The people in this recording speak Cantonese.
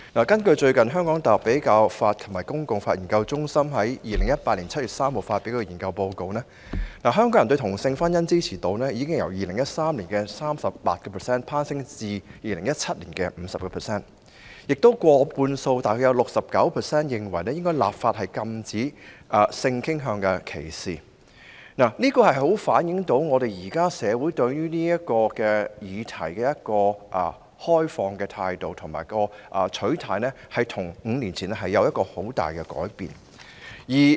根據香港大學比較法及公法研究中心在2018年7月3日發表的研究報告，香港人對同性婚姻的支持度已由2013年的 38% 攀升至2017年的 50%， 有過半數受訪者認為應立法禁止性傾向歧視，足以反映出社會對這議題的開放態度，取態與5年前相比出現很大改變。